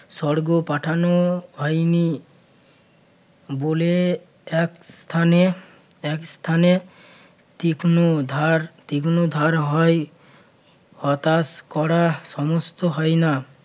স্বর্গ পাঠানো হয়নি বলে এক স্থানে~ এক স্থানে তীক্ষ্ণধার~ তীক্ষ্ণধার হয় হতাশ করা সমস্ত হয় না